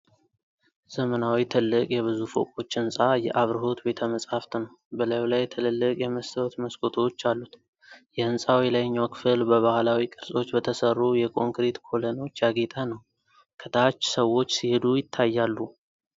ዘመናዊው ትልቅ የብዙ ፎቆች ሕንፃ የአብርሆት ቤተ-መጻሕፍት ነው፣ በላዩ ላይ ትልልቅ የመስታወት መስኮቶች አሉት። የሕንፃው የላይኛው ክፍል በባህላዊ ቅርጾች በተሠሩ የኮንክሪት ኮለኖች ያጌጠ ነው። ከታች ሰዎች ሲሄዱ ይታያሉ።